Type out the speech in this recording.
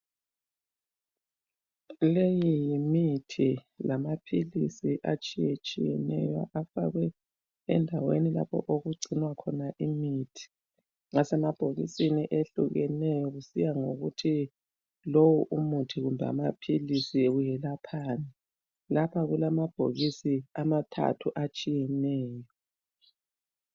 Le yimithi lamaphilisi atshiyetshiyeneyo afakwe endaweni lapho okugcinwa khona imithi. Asemabhokisini atshiyeneyo kusiya ngokuthi lo umuthi kumbe amaphilisi welaphani. Lapha kulamabhokisi amathathu atshiyeneyo.